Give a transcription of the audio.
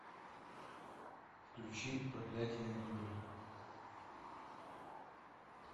включи проклятие аннабель